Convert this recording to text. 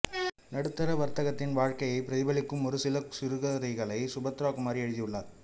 நடுத்தர வா்க்கத்தின் வாழ்க்கையை பிரதிபலிக்கும் ஒரு சில சிறுகதைகளையும் சுபத்ரா குமாரி எழுதியுள்ளாா்